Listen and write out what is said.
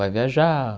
Vai viajar,